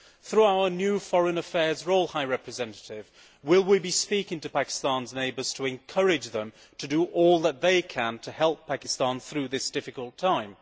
Through our new foreign affairs role, High Representative, will we be speaking to Pakistan's neighbours to encourage them to do all that they can to help Pakistan through this difficult time?